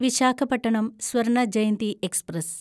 Visakhapatnam Swarna Jayanti express